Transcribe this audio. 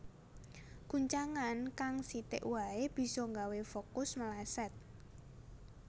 Guncangan kang sithik wae bisa gawé fokus meleset